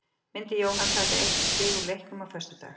Myndi Jóhann taka eitt stig úr leiknum á föstudag?